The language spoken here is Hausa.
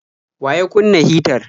Wa ya kunna hitar?